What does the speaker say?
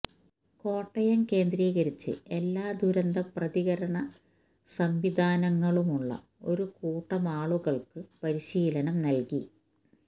കോട്ടയം കേന്ദ്രീകരിച്ച് എല്ലാ ദുരന്ത പ്രതികരണ സംവിധാനങ്ങളുമുള്ള ഒരു കൂട്ടമാളുകള്ക്ക് പരിശീലനം നല്കി